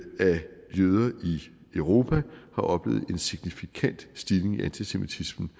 europa har oplevet en signifikant stigning i antisemitismen